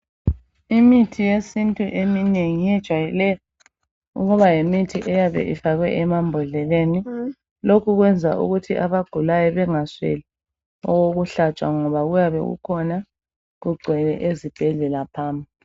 Imithi yesintu eminengi ijwayele ukuba yimithi eyabe ifakwe emabhodleleni lokhu kwenza ukuthi abagulayo bengasweli owokuhlatshwa ngoba uyabe ukhona ingcwele ezibhedlela phamu